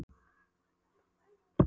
Og ekki heldur að vera svona nöldursöm.